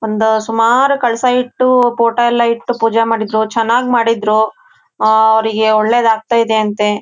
ಒಂದ್ ಸುಮಾರ್ ಕಳಸ ಇಟ್ಟು ಫೋಟೋ ಎಲ್ಲಾ ಇಟ್ಟು ಪೂಜೆ ಮಾಡಿದ್ರು. ಚೆನ್ನಾಗ್ ಮಾಡಿದ್ರು. ಆಹ್ಹ್ ಅವ್ರಿಗೆ ಒಳ್ಳೇದ್ ಆಗ್ತಾ ಇದೆ ಅಂತೆ.